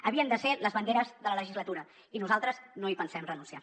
havien de ser les banderes de la legislatura i nosaltres no hi pensem renunciar